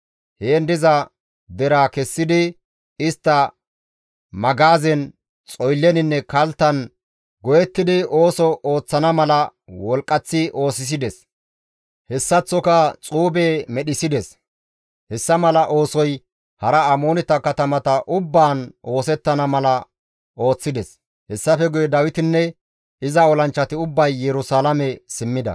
Heen diza deraa kessidi istta magaazen, xoylleninne kalttan go7ettidi ooso ooththana mala wolqqaththi oosisides; hessaththoka xuube medhissides. Hessa mala oosoy hara Amooneta katamata ubbaan oosettana mala ooththides. Hessafe guye Dawitinne iza olanchchati ubbay Yerusalaame simmida.